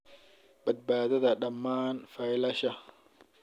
Badbaadada dhammaan faylasha